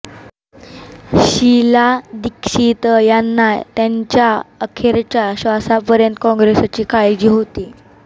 शीला दीक्षित यांना त्यांच्या अखेरच्या श्वासापर्यंत काँग्रेसची काळजी होती